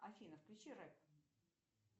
афина включи рэп